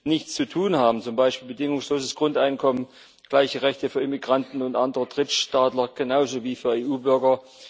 nichts zu tun haben, zum Beispiel bedingungsloses Grundeinkommen, gleiche Rechte für Immigranten und andere Drittstaatsangehörige wie für EU Bürger.